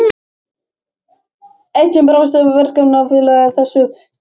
Eitt sinn brást Verkakvennafélagið þessum tilmælum og